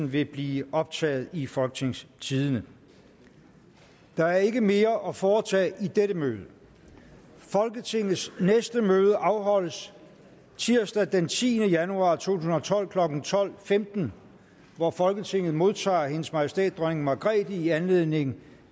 vil blive optaget i folketingstidende der er ikke mere at foretage i dette møde folketingets næste møde afholdes tirsdag den tiende januar to tusind og tolv klokken tolv femten hvor folketinget modtager hendes majestæt dronning margrethe i anledning